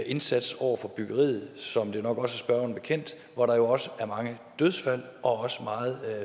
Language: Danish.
indsats over for byggeriet som det nok også er spørgeren bekendt hvor der jo også er mange dødsfald og meget